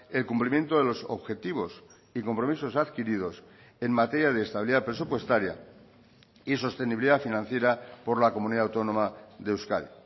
el cumplimiento de los objetivos y compromisos adquiridos en materia de estabilidad presupuestaria y sostenibilidad financiera por la comunidad autónoma de euskadi